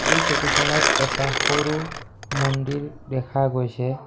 এই ছবিখনত এটা সৰু মন্দিৰ দেখা গৈছে।